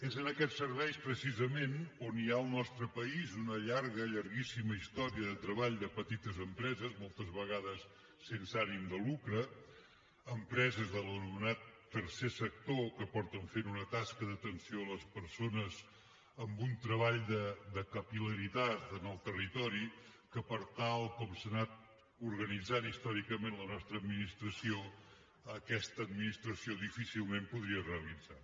és en aquests serveis precisament on hi ha al nostre país una llarga llarguíssima història de treball de petites empreses moltes vegades sense ànim de lucre empreses de l’anomenat tercer sector que fan una tasca d’atenció a les persones amb un treball de capil·laritat en el territori que tal com s’ha anat organitzant històricament la nostra administració aquesta administració difícilment podia realitzar